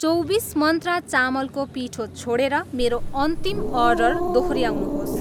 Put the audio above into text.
चौबिस मन्त्रा चामलको पिठो छोडेर मेरो अन्तिम अर्डर दोहोऱ्याउनुहोस्।